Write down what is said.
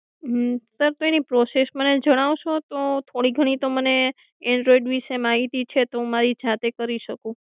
અમ સર એની પ્રોસેસ મને જણાવશો તો થોડીક ઘણી તો મને એન્ડ્રોઇડ વિષે માહિતી છે તો મારી જાતે કરી શકું.